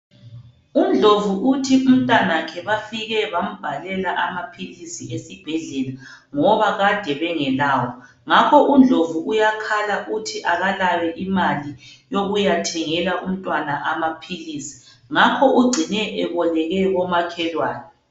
UNdlovu uthi umtanakhe bafike bambhalela amaphilisi esibhedlela, ngoba kade bengelawo, ngakho uNdlovu uyakhala uthi akalayo imali yokuyathengela umntwana amaphilisi, ngakho ugcine eboleke komakhelwane.